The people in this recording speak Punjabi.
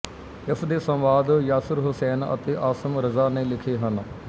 ਇਸਦੇ ਸੰਵਾਦ ਯਾਸਿਰ ਹੁਸੈਨ ਅਤੇ ਆਸਿਮ ਰਜ਼ਾ ਨੇ ਲਿਖੇ ਹਨ